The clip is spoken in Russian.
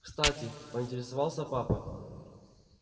кстати поинтересовался папа